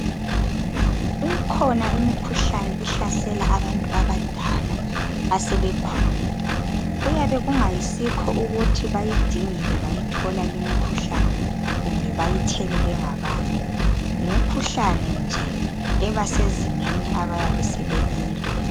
Ikhona imikhuhlane ehlasela abantu abadala asebekhulile. Kuyabe kungayisikho ukuthi bayidingile bayithola limikhuhlane kumbe bayithelwe ngabanye. Yimikhuhlane nje eba sezingeni abayabe sebekilo.